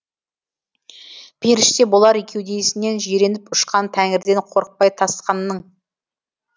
періште болар кеудесінен жиреніп ұшқан тәңірден қорықпай тасқанның